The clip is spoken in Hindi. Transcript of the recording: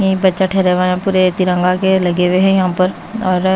यहीं बच्चा ठहरा हुआ पूरे तिरंगा के लगे हुए है यहां पर और--